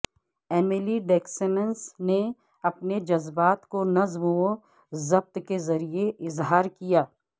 Emily Dickinson نے اپنے جذبات کو نظم و ضبط کے ذریعے اظہار کیا